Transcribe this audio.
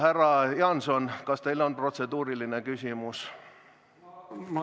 Härra Jaanson, kas teil on protseduuriline küsimus?